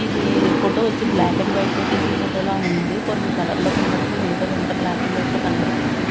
ఇది ఫోటో వచ్చి black and white లో తీసిన ఫోటో లా ఉంది కొన్ని కలర్ లో కన్పపడతన్నయ్ మిగతాదంతా బ్లాక్ అండ్ వైట్ లో కన్పపడతంది.